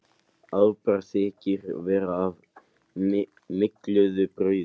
Afbragð þykir vera af mygluðu brauði.